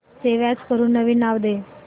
save as करून नवीन नाव दे